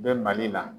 Bɛ mali la